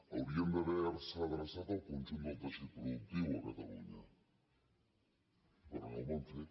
haurien d’haver se adreçat al conjunt del teixit productiu a catalunya però no ho van fer